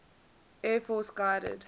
air force guided